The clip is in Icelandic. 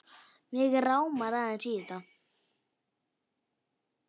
Mig rámar aðeins í þetta.